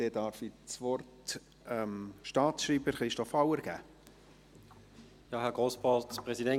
Ich darf das Wort dem Staatsschreiber, Christoph Auer, geben.